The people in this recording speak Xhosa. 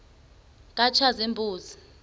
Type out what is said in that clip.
katshazimpuzi